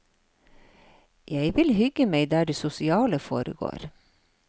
Jeg vil hygge meg der det sosiale foregår.